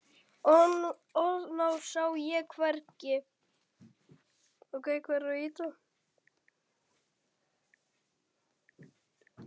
Hnoðað sá ég hvergi.